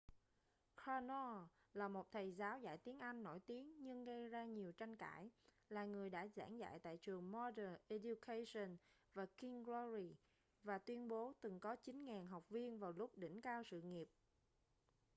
karno là một thầy giáo dạy tiếng anh nổi tiếng nhưng gây ra nhiều tranh cãi là người đã giảng dạy tại trường modern education và king's glory và tuyên bố từng có 9.000 học viên vào lúc đỉnh cao sự nghiệp